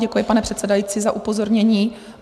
Děkuji, pane předsedající za upozornění.